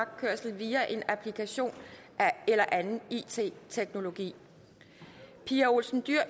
via en applikation eller anden it teknologi pia olsen dyhr